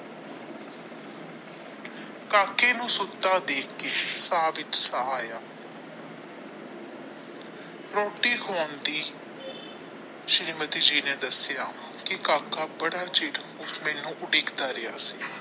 ਕਾਕੇ ਨੂੰ ਸੋਤਾ ਦੇਖ ਕੇ ਸਾਹ ਵਿੱਚ ਸਾਹ ਆਇਆ ਰੋਟੀ ਖਵਾਉਂਦੀ ਸ਼੍ਰੀਮਤੀ ਨੇ ਦੱਸਿਆ ਕੀ ਕਾਕਾ ਬੜਾ ਚਿਰ ਮੈਨੂੰ ਉਡੀਕ ਦਾ ਰਿਹਾ ਸੀ।